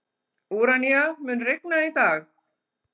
Úranía, mun rigna í dag?